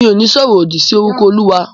Mi ò ní sọ ọ̀rọ̀ òdì si orúkọ Olúwa.